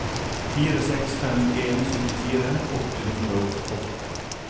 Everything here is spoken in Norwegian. fire seks fem en syttifire åtte hundre og åtte